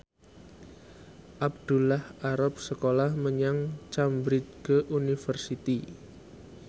Abdullah arep sekolah menyang Cambridge University